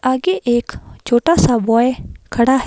आगे एक छोटा सा बॉय खड़ा है।